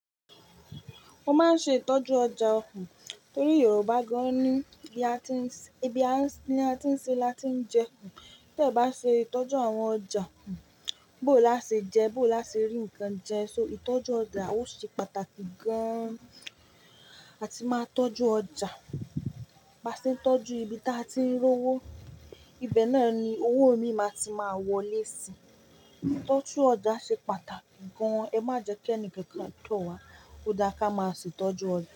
Mo maa n ṣe ìtọ́jú ọjà ọ torí Yorùbá gan ní i bi a tí n ṣe láti ń jẹ. Tẹ bá ṣe ìtọ́jú àwọn ọjà, bó làá ṣe jẹ, bó làá ṣe rí nǹkan jẹ. So ìtọ́jú ọjà a o ṣe pàtàkì gan. A ti máa tọ́jú ọjà. Baṣe ń tọ́jú ibi tí a tí ń rówó. Ibe náà ni owó mi máa ti máa wọlé sí. Ìtọ́jú ọjà ṣe pàtàkì gan. Ẹ má jẹ kí ẹni kankan tó wa. Ó dá ká máa ṣe tọ́jú ọjà.